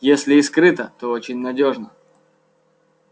если и скрыто то очень надёжно